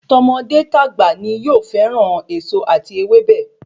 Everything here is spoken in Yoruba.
Tọmọdé tagba ni yóò fẹràn èso ati ewébẹ̀